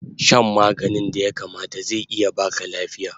Shan maganin da ya kamata zai iya baka lafiya